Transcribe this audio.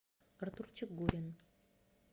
артурчик гурин